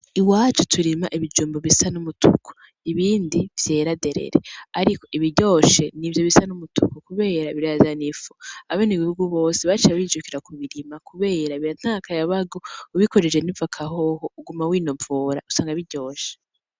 Iwacu turima ibijumbu bisa n'umutuku ibindi vyera deredere, ariko ibiryoshe n'ivyo bisa n'umutuku kubera birazana ifu abanegihugu bose baciye bijukira kubirima kubera biratanga akayabagu ubikojeje n'ivoka hoho uguma winovora usanga biryoshe.